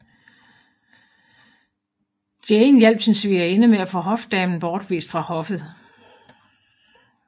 Jane hjalp sin svigerinde med at få hofdamen bortvist fra hoffet